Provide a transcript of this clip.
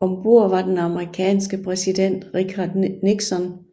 Om bord var den amerikanske præsident Richard Nixon